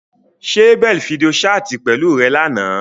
Ṣe Abel fidio ṣaati pẹlu rẹ làná?